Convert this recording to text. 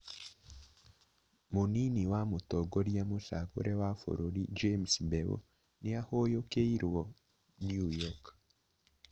Mũnini wa mũtongoria mũcagũre wa bũrũri James Mbeu nĩ ahũyũkĩirwo New York